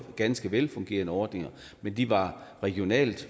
ganske velfungerende ordninger men de var regionalt